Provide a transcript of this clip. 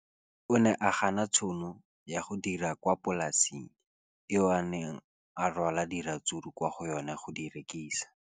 O ne a gana tšhono ya go dira kwa polaseng eo a neng rwala diratsuru kwa go yona go di rekisa.